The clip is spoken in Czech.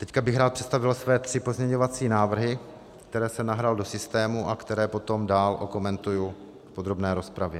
Teď bych rád představil své tři pozměňovací návrhy, které jsem nahrál do systému a které potom dál okomentuji v podrobné rozpravě.